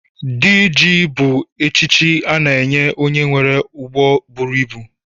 Dị ji bu echichi a na-enye onye nwere ụgbọ bụrụ ịbụ